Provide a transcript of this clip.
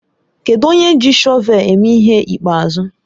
Kedụ onye ji shọvel eme ihe ịkpeazụ?